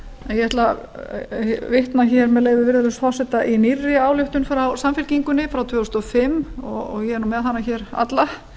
ætla að vitna með leyfi virðulegs forseta í nýrri ályktun frá samfylkingunni frá tvö þúsund og fimm ég er með hana hér alla